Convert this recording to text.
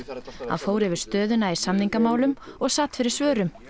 fór yfir stöðuna í samningamálum og sat fyrir svörum